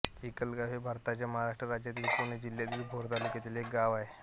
चिखलगाव हे भारताच्या महाराष्ट्र राज्यातील पुणे जिल्ह्यातील भोर तालुक्यातील एक गाव आहे